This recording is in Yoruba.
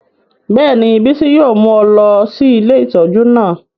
Bẹ́ẹ̀ni, Bisi yóò mu ọ lọ si ìlé itọju naa